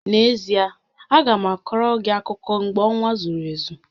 N'ezie, a ga m akoro gị akụkọ mgbe ọnwa zuru ezu